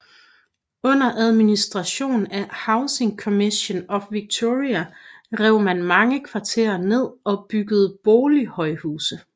Under administration af Housing Commission of Victoria rev man mange kvarterer ned og byggede bolighøjhuse